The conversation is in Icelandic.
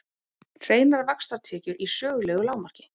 Hreinar vaxtatekjur í sögulegu lágmarki